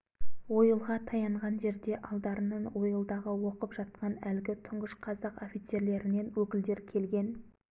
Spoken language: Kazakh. ойылға таянған жерде алдарынан ойылдағы оқып жатқан әлгі тұңғыш қазақ офицерлерінен өкілдер келген